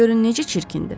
Görün necə çirkindir.